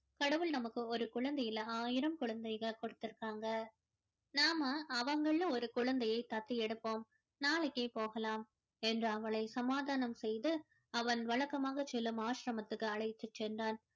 கடவுள் நமக்கு ஒரு குழந்தை இல்ல ஆயிரம் குழந்தைகளை கொடுத்து இருக்காங்க நாம அவங்கள்ல ஒரு குழந்தையை தத்து எடுப்போம் நாளைக்கே போகலாம் என்று அவளை சமாதானம் செய்து அவன் வழக்கமாக செல்லும் ஆசிரமத்திற்கு அழைத்துச் சென்றான்